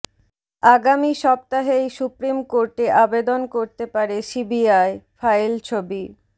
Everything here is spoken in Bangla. আগামী সপ্তাহেই সুপ্রিম কোর্টে আবেদন করতে পারে সিবিআই ফাইল ছবি